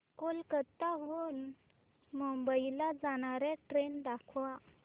कोलकाता हून मुंबई ला जाणार्या ट्रेन दाखवा